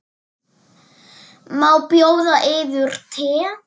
Má bjóða yður te?